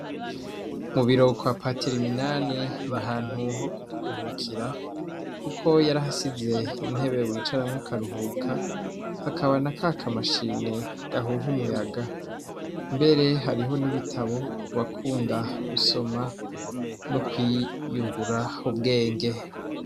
Mu biro kwa patiri Minani, n'ahantu ho kuruhukira. Kuko yarahasize intebe wicaramwo ukaruhuka, hakaba n'akakashini gahuha umuyaga. Mbere hariho n'ibitabo kubakunda gusoma no kwiyungura ubwenge.